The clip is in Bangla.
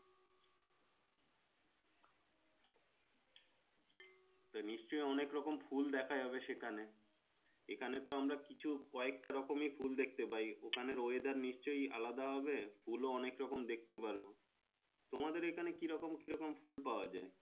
নিশ্চয় অনেক রকম ফুল দেখা যাই এখানে এখানে তো আমরা কিছু ক একটা রকমের ফুল দেখতে পাওয়া যাই ওখানে weather নিশ্চয় আলাদা হবে ফুল ও অনেকরকম দেখতে পারবো তোমাদের ওখানে কি রকম কিরকম ফুল পাওয়া যাই।